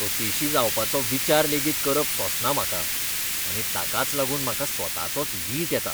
अपेशी जावपाचो विचार लेगीत करप सोंसना म्हाका आनी ताकाच लागून म्हाका स्वताचोच वीट येता.